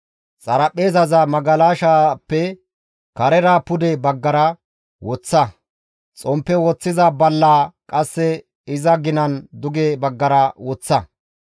Xaraphpheezaza magalashaappe karera pude baggara woththa; xomppe woththiza ballaa qasse iza ginan duge baggara woththa.